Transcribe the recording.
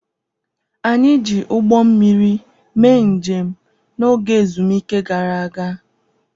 Anyị ji ụgbọ mmiri mee njem n'oge ezumike gara aga.